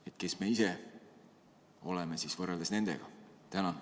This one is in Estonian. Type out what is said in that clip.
Aga kes me ise oleme nendega võrreldes?